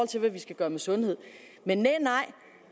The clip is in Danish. til hvad vi skal gøre med sundhed men nej